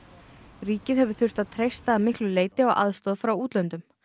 ríkið hefur þurft að treysta að miklu leyti á aðstoð frá útlöndum